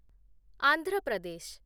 Andhra Pradesh